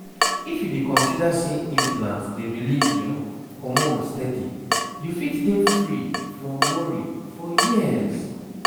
if you dey consider say implant dey release hormones steady you fit dey free from worry for years